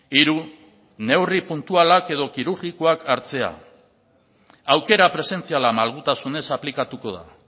hiru neurri puntualak edo kirurgikoak hartzea aukera presentziala malgutasunez aplikatuko da